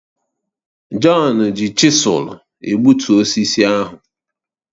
Jọn ji chisụl egbutu osisi ahụ